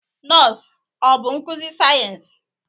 Nọọsụ ọ bụ nkuzi sayensị?